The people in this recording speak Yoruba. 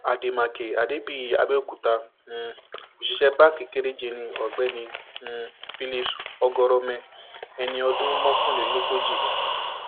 àdèmàkè àdébíyí àbẹòkúta um òṣìṣẹ báǹkì kéréje ní ọgbẹni um philips ọgọrọmẹ ẹni ọdún mọkànlélógójì ni